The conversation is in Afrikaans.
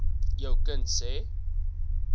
jou kind se